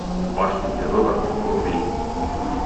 в башне террора вруби